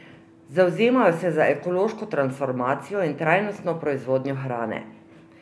Zavzemajo se za ekološko transformacijo in trajnostno proizvodnjo hrane.